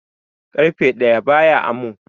ƙarfe ɗaya baya amo